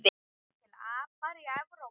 Eru til apar í Evrópu?